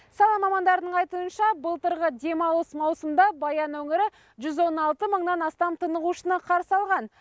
сала мамандарының айтуынша былтырғы демалыс маусымында баян өңірі жүз он алты мыңнан астам тынығушыны қарсы алған